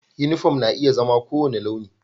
Uniform na iya zama kowane launi